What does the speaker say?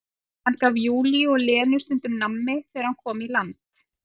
Hann gaf Júlíu og Lenu stundum nammi þegar hann kom í land.